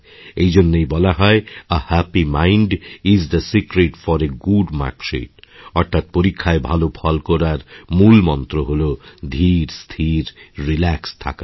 এই জন্যই বলা হয় a happy mind is the secret for a good mark sheet অর্থাৎ পরীক্ষায় ভাল ফল করার মূল মন্ত্র হল ধীরস্থির রিল্যাক্সড থাকা